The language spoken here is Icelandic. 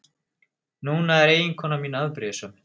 Núna er eiginkona mín afbrýðisöm.